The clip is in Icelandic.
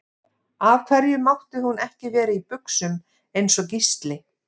Af hverju mátti hún ekki vera í buxum eins og Gísli?